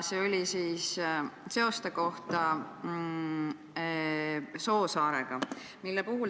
See oli seoste kohta Soosaarega.